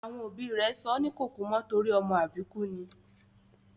Àwọn òbí rẹ̀ sọ́ ní Kòkúmọ́ torí ọmọ àbíkú ni